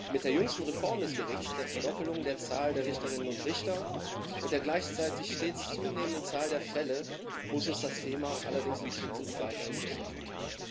Mit der jüngsten Reform des Gerichts, der Verdoppelung der Zahl der Richterinnen und Richter und der gleichzeitig stets zunehmenden Zahl der Fälle muss uns das Thema allerdings in Zukunft weiterhin beschäftigen.